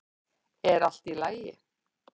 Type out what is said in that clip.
er allt í lagi